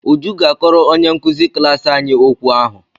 Uju ga-akọrọ onye nkụzi klaasị anyị okwu ahụ.